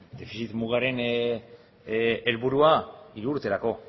defizit mugaren helburua hiru urterako